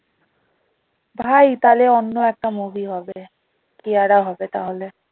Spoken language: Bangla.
ভাই তাহলে অন্য একটা movie হবে কিয়ারা হবে তাহলে